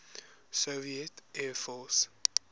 soviet air force